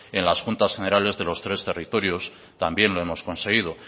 en las juntas generales de los tres territorios también lo hemos conseguido